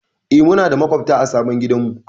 E, muna da maƙwabta a sabon gidanmu.